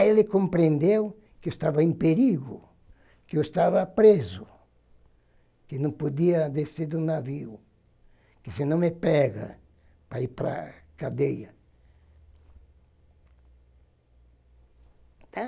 Aí ele compreendeu que eu estava em perigo, que eu estava preso, que não podia descer do navio, que se não me pega para ir para a cadeia.